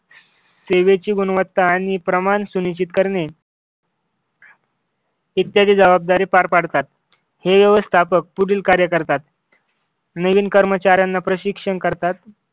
सेवेची गुणवत्ता आणि प्रमाण सुनिश्चित करणे इत्यादी जबाबदारी पार पाडतात. हे व्यवस्थापक पुढील कार्य करतात. नवीन कर्मचाऱ्यांना प्रशिक्षण करतात.